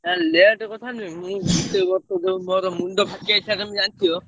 ନା late କଥା ନୁହେଁ ସେଇ ବର୍ଷ ମୋର ମୁଣ୍ଡ ଫାଟି ଯାଇଥିଲା ତମେ ଜାଣିଥିବ